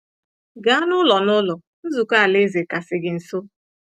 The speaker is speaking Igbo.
Gaa n’Ụlọ n’Ụlọ Nzukọ Alaeze kasị gị nso.